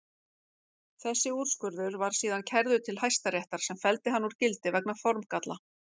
Þessi úrskurður var síðan kærður til Hæstaréttar sem felldi hann úr gildi vegna formgalla.